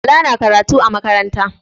Bala na karatu a makaranta.